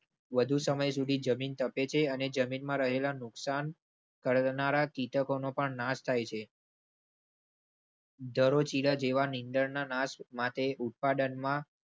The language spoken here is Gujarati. વધુ સમય સુધી જમીન તપે છે અને જમીનમાં રહેલા નુકસાન કરનારા કીટકોનો પણ નાશ થાય છે. દરોજીરાજ એવા નિઝરના નાશ માટે ઉત્પાદનમાં.